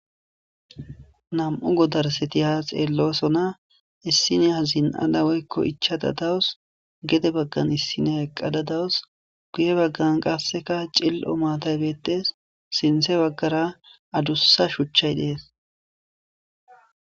nam7u godarseti ha xeellosona issiniya zin7ada woykko ichada dawus gede baggan issiniya eqqada dawus guye baggan qasseka cil7o maataybeettees sinte baggara adussa shuchchay dees